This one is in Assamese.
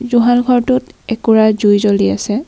জুহাল ঘৰটোত একোৰা জুই জ্বলি আছে।